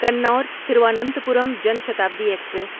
Kinnaur Thiruvananthapuram Jan Shatabdi express